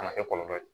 Kana kɛ kɔlɔlɔ ye